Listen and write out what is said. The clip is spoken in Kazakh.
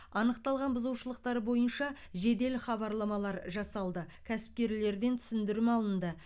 анықталған бұзушылықтар бойынша жедел хабарламалар жасалды кәсіпкерлерден түсіндірме алынды